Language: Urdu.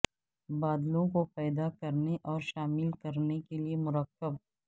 بادلوں کو پیدا کرنے اور شامل کرنے کے لئے مرکب